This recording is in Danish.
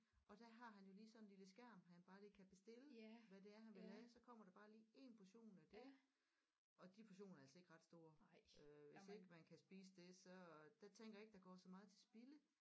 Og der har han jo lige sådan en lille skærm han bare lige kan bestille hvad det er han vil have så kommer der bare lige én portion af det og de portioner er altså ikke ret store øh hvis ikke man kan spise det så der tænker jeg ikke der går så meget til spilde